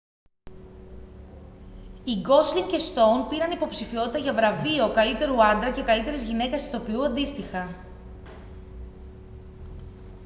οι γκόσλινγκ και στόουν πήραν υποψηφιότητα για βραβείο καλύτερου άντρα και καλύτερης γυναίκας ηθοποιού αντίστοιχα